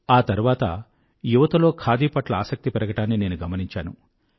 ఆ తర్వాత యువతలో ఖాదీ పట్ల ఆసక్తి పెరగడాన్ని నేను గమనించాను